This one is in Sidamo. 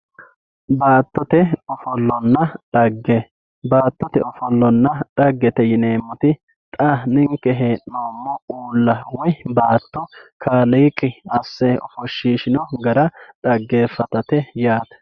baattote ofollonna xagge baattote ofollonna xaggete yineemmotixa ninke hee'noommo uulla woy baatto kaaliiqi asse ofoshshiishino gara dhaggeeffatate yaate.